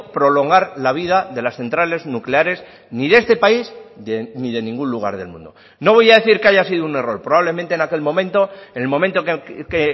prolongar la vida de las centrales nucleares ni de este país ni de ningún lugar del mundo no voy a decir que haya sido un error probablemente en aquel momento en el momento que